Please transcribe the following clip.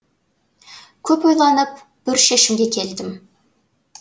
көп ойланып бір шешімге келдім